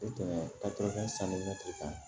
I tɛmɛ sanuya k'a kan